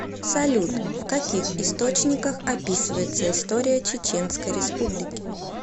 салют в каких источниках описывается история чеченской республики